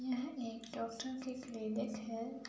यह एक डॉक्टर की क्लिनिक है।